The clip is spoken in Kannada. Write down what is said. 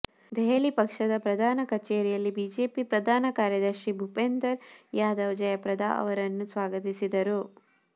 ದೆಹಲಿಯ ಪಕ್ಷದ ಪ್ರಧಾನ ಕಚೇರಿಯಲ್ಲಿ ಬಿಜೆಪಿ ಪ್ರಧಾನ ಕಾರ್ಯದರ್ಶಿ ಭುಪೇಂದರ್ ಯಾದವ್ ಜಯಪ್ರದಾ ಅವರನ್ನು ಸ್ವಾಗತಿಸಿದರು